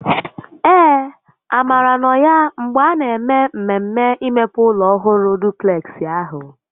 Ee, Amara nọ ya mgbe a na eme mmemme imepe ụlọ ọhụrụ dupleksị ahụ